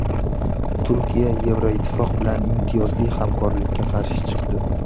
Turkiya Yevroittifoq bilan imtiyozli hamkorlikka qarshi chiqdi.